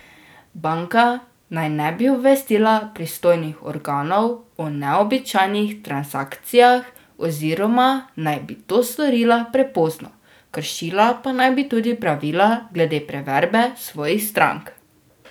Banka naj ne bi obvestila pristojnih organov o neobičajnih transakcijah oziroma naj bi to storila prepozno, kršila pa naj bi tudi pravila glede preverbe svojih strank.